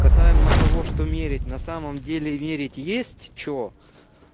касаемо того что мерить на самом деле верить есть что